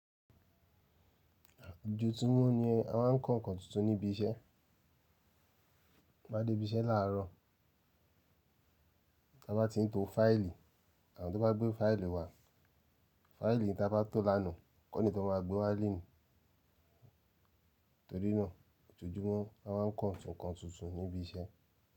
Ojo tu mọ́ ni a máà ń kọ nkán tuntun ní ibi iṣẹ́. Ta bá dé ibi iṣẹ́ láàrọ̀, ta bá tin to file, àwọn tó bá gbé file wá, file ta bá to l'àná kọ́ ni tọ ma gbé wá l'eni. Torí náà, ojoojúmọ́ a máà ń kọ ǹkan tuntun ní ibi iṣẹ́.